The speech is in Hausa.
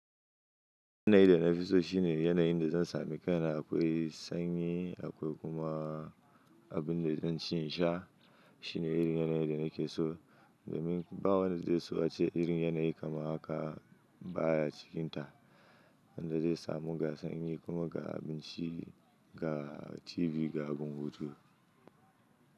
Yanayi da na fi so shine, yanayin da zan sami kai na akwai sanyi, akwai kuma abin da zan ci in sha. Shine irin yanayin da nake so, domin ba wanda zai so ace irin yanayi kamar haka, baya cikinta. Wanda zai sa mu ga sanyi kuma ga abinci, ga TV, ga gun hutu.